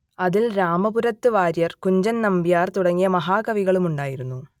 അതിൽ രാമപുരത്തു വാര്യർ കുഞ്ചൻ നമ്പ്യാർ തുടങ്ങിയ മഹാകവികളും ഉണ്ടായിരുന്നു